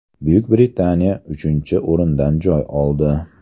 Buyuk Britaniya uchinchi o‘rindan joy oldi.